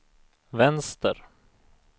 vänster